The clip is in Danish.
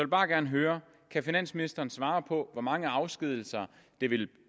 bare gerne høre kan finansministeren svare på hvor mange afskedigelser det vil